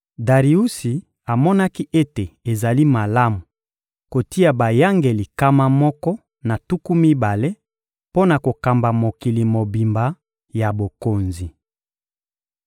Dariusi amonaki ete ezali malamu kotia bayangeli nkama moko na tuku mibale mpo na kokamba mokili mobimba ya bokonzi.